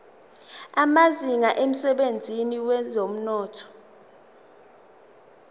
amazinga emsebenzini wezomnotho